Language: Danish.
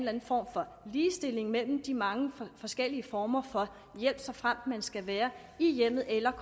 anden form for ligestilling mellem de mange forskellige former for hjælp såfremt man skal være i hjemmet eller